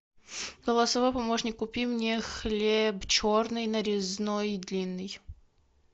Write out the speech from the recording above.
голосовой помощник купи мне хлеб черный нарезной длинный